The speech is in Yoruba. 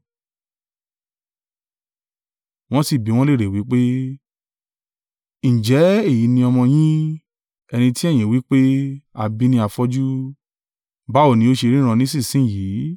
Wọ́n sì bi wọ́n léèrè wí pé, “Ǹjẹ́ èyí ni ọmọ yín, ẹni tí ẹ̀yin wí pé, a bí ní afọ́jú? Báwo ni ó ṣe ríran nísinsin yìí?”